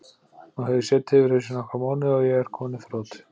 Nú hef ég setið yfir þessu í nokkra mánuði og er kominn í þrot.